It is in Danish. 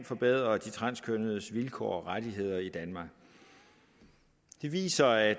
forbedre de transkønnedes vilkår og rettigheder i danmark de viser at